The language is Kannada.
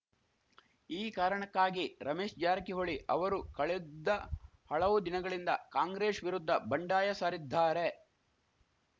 ಈ ಕಾರಣಕ್ಕಾಗಿ ರಮೇಶ್‌ ಜಾರಕಿಹೊಳಿ ಅವರು ಕಳೆದ್ದ ಹಳವು ದಿನಗಳಿಂದ ಕಾಂಗ್ರೆಶ್ ವಿರುದ್ಧ ಬಂಡಾಯ ಸಾರಿದ್ದಾರೆ